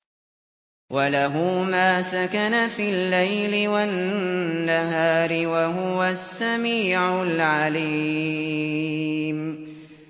۞ وَلَهُ مَا سَكَنَ فِي اللَّيْلِ وَالنَّهَارِ ۚ وَهُوَ السَّمِيعُ الْعَلِيمُ